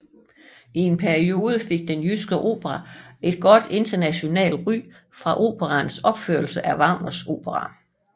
I perioden fik Den Jyske Opera et godt internationalt ry for operaens opførelser af Wagners operaer